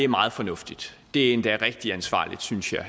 meget fornuftigt det er endda rigtig ansvarligt synes jeg